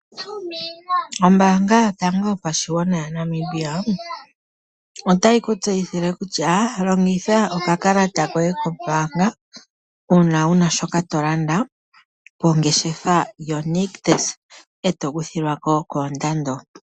Ombaanga yotango yopashigwana yaNamibia otayi ku tseyithile kutya longitha okakalata koye kombaanga uuna una shoka tolanda, mongeshefa yoNictus, eto kuthilwa ko koondando.